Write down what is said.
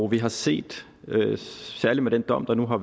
vi har set særligt med den dom der nu er